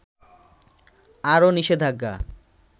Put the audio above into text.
আরো নিষেধাজ্ঞা